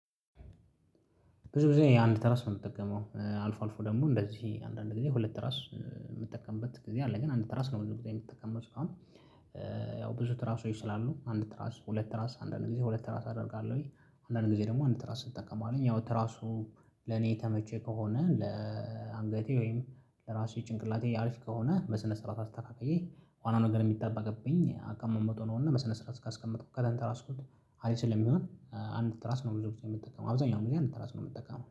ብዙ ጊዜ አንድ ትራስ ነው የምጠቀመው አልፎ አልፎ ደግሞ እንደዚህ አንዳንድ ጊዜ ሁለት ተራስ የምጠቀምበት ጊዜ አለ ግን አንድ ትራስ ነው ብዙ ጊዜ የምትጠቀመው ሲሆን። ያው ብዙ ትራሶች ስላሉ አንድ ትራስ ሁለት ትራስ አንዳንድ ጊዜ ሁለት ራስ አደርጋለሁኝ አንዳንድ ጊዜ ደግሞ አንድ ራስ እጠቀማለሁኝ ያው ትራሱ ለኔ የተመቸ ከሆነ ለአንገቴ ወይም ለራሴ ጭንቅላቴ አሪፍ ከሆነ በስነ ስርዓት አስተካክዬ ዋና ነገር የሚጠበቅብኝ አቀማመጡ ነው። እና በስነ ስራዓት እስካስቀመጥኩኝ ከተንተራስኩት አሪፍ ስለሚሆን አንድ ትራስ ነው። ብዙ ጊዜ የምትጠቀመው አብዛኛው ጊዜ አንድ ትራስ ምጠቀመው